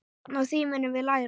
Á því munum við læra.